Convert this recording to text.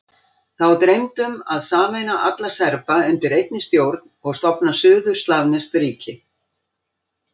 Þá dreymdi um að sameina alla Serba undir einni stjórn og stofna suður-slavneskt ríki.